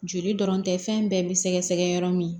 Joli dɔrɔn tɛ fɛn bɛɛ bi sɛgɛsɛgɛ yɔrɔ min